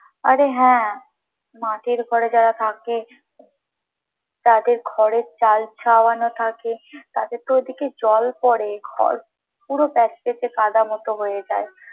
আরে হ্যাঁ মাটির ঘরে যারা থাকে, তাদের ঘরের চাল ছাওয়ানো থাকে তাদের তো ওই দিকে জল পরে ঘর পুরো প্যাঁচপেঁচে কাদা মতো হয়ে যায়।